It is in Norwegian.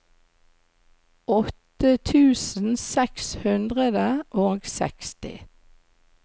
åtte tusen seks hundre og seksti